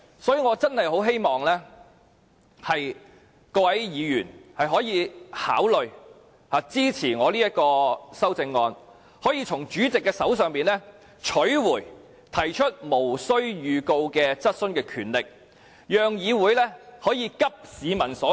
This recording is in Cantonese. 所以，我真的十分希望各位議員可以考慮支持我這項修正案，從而由主席手上取回提出無經預告質詢的權力，讓議會可以急市民所急。